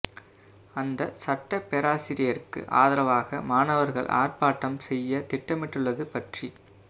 அந்த சட்டப் பேராசியருக்கு ஆதரவாக மாணவர்கள் ஆர்ப்பாட்டம் செய்யத் திட்டமிட்டுள்ளது பற்றிக்